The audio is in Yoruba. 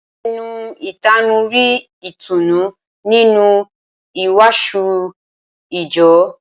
Ẹni ìtanú rí ìtùnú nínú ìwàásù ìjọ